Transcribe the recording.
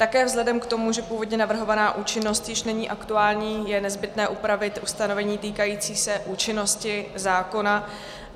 Také vzhledem k tomu, že původně navrhovaná účinnost již není aktuální, je nezbytné upravit ustanovení týkající se účinnosti zákona.